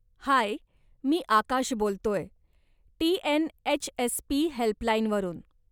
हाय, मी आकाश बोलतोय, TNHSP. Helpline वरून.